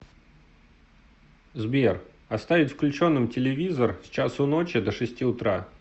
сбер оставить включенным телевизор с часу ночи до шести утра